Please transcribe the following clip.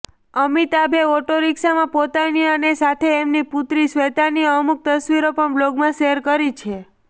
અમિતાભે ઓટોરીક્ષામાં પોતાની અને સાથે એમની પુત્રી શ્વેતાની અમુક તસવીરો પણ બ્લોગમાં શેર કરી છે